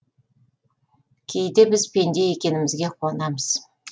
кейде біз пенде екенімізге қуанамыз